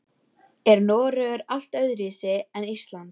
Er Noregur allt öðruvísi en Ísland?